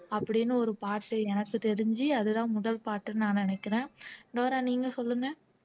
அப்படின்னு ஒரு பாட்டு எனக்கு தெரிஞ்சு அதுதான் முதல் பாட்டுன்னு நான் நினைக்கிறேன் டோரா நீங்க சொல்லுங்க